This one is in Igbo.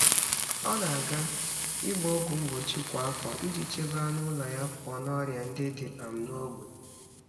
Ọ na-aga ịgba ọgwụ mgbochi kwa afọ iji chebe anụ ụlọ ya pụọ na ọrịa ndị dị um n’ógbè.